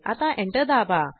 आता एंटर दाबा